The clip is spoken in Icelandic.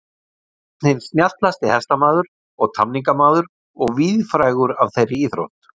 Einn hinn snjallasti hestamaður og tamningamaður og víðfrægur af þeirri íþrótt.